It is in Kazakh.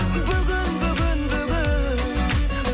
бүгін бүгін бүгін